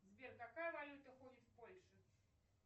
сбер какая валюта ходит в польше